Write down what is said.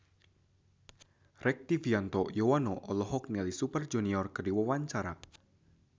Rektivianto Yoewono olohok ningali Super Junior keur diwawancara